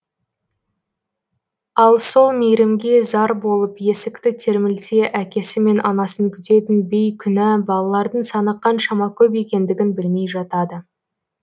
ал сол мейірімге зар болып есікті термілте әкесі мен анасын күтетін бейкүнә балалардың саны қаншама көп екендігін білмей жатады